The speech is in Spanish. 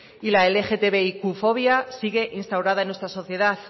y la lgtbiqfobia siguen instaurada en nuestra sociedad